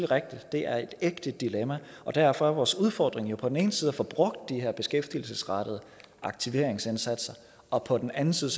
rigtigt at det er et ægte dilemma og derfor er vores udfordring på den ene side at få brugt de her beskæftigelsesrettede aktiveringsindsatser og på den anden side